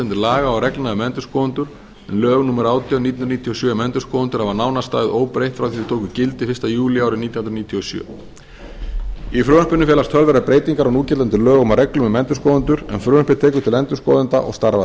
núgildandi laga og reglna um endurskoðendur en lög númer átján nítján hundruð níutíu og sjö um endurskoðendur hafa nánast staðið óbreytt frá því þau tóku gildi fyrsta júlí árið nítján hundruð níutíu og sjö í frumvarpinu felast töluverðar breytingar á núgildandi lögum og reglum um endurskoðendur en frumvarpið tekur til endurskoðenda og starfa